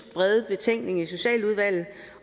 betænkning i socialudvalget